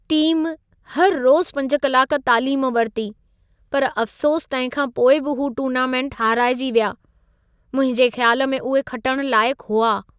Team, हर रोज़ु 5 कलाक तालीम वरिती, पर अफ़सोसु तंहिं खां पोइ बि हू टूर्नामेंट हाराइजी विया। मुंहिंजे ख़्याल में उहे खटण लाइक़ु हुआ।